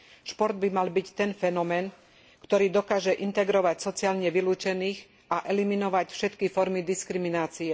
Šport by mal byť ten fenomén, ktorý dokáže integrovať sociálne vylúčených a eliminovať všetky formy diskriminácie.